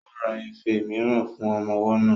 Ó ra ife mìíràn fún ọmọ ọwọ́ náà